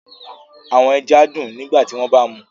Awọn ẹja dun nigbati wọn ba mu